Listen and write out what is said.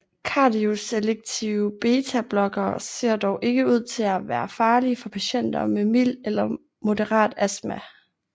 Kardioselektive betablokkere ser dog ikke ud til at være farlige for patienter med mild eller moderat astma